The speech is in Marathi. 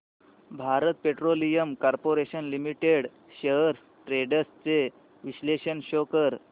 Bharat petroleum corporation limited shares trends चे विश्लेषण शो कर